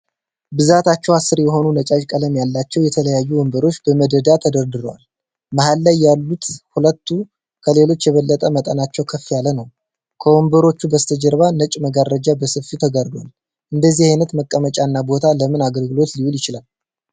ብዛታቸው አስር የሆነ ነጫጭ ቀለም ያላቸው የተለያዩ ወንበሮች በመደዳ ተደርድረዋል። መሃል ላይ ያሉት ሁለቱ ከሌሎቹ የበለጠ መጠናቸው ከፍ ያለ ነው። ከወንበሮቹም በስተጀርባ ነጭ መጋረጃ በሰፊው ተጋርዷል። እንደዚህ አይነት መቀመጫ እና ቦታ ለምን አገልግሎት ሊውል ይችላል?